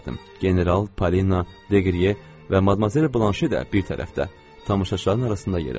General, Polina, Deqriye və madmazel Blanşe də bir tərəfdə tamaşaçıların arasında yerləşdilər.